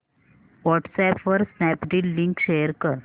WhatsApp वर Snapdeal link share कर